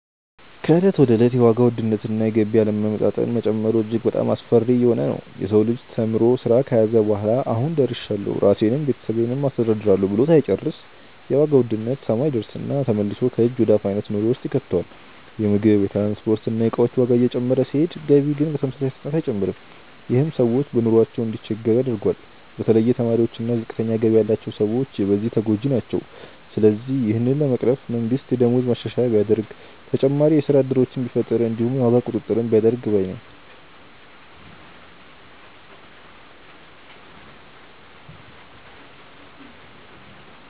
ከእለት ወደ እለት የዋጋ ውድነት እና የገቢ አለመመጣጠን መጨመሩ እጅግ በጣሞ አስፈሪ እየሆነ ነዉ። የሰው ልጅ ተምሮ ስራ ከያዘ በኋላ "አሁን ደርሻለሁ ራሴንም ቤተሰቤንም አስተዳድራለሁ" ብሎ ሳይጨርስ የዋጋ ውድነት ሰማይ ይደርስና ተመልሶ ከእጅ ወደ አፍ አይነት ኑሮ ውስጥ ይከተዋል። የምግብ፣ የትራንስፖርት እና የእቃዎች ዋጋ እየጨመረ ሲሄድ ገቢ ግን በተመሳሳይ ፍጥነት አይጨምርም። ይህም ሰዎች በኑሯቸው እንዲቸገሩ ያደርገዋል። በተለይ ተማሪዎች እና ዝቅተኛ ገቢ ያላቸው ሰዎች በዚህ ተጎጂ ናቸው። ስለዚህ ይህንን ለመቅረፍ መንግስት የደሞዝ ማሻሻያ ቢያደርግ፣ ተጨማሪ የስራ እድሎችን ቢፈጥር እንዲሁም የዋጋ ቁጥጥር ቢያደርግ ባይ ነኝ።